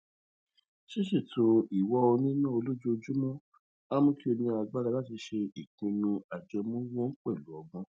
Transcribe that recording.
ṣiṣeto iwa owo nina olojoojúmó a mu ki o ni agbara lati le ṣe ipinnu ajẹmowo pẹlu ọgbọn